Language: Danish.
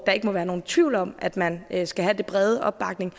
der ikke må være nogen tvivl om at man skal have den brede opbakning